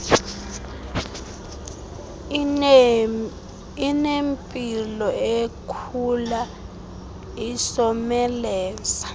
inempilo ikhula isomelela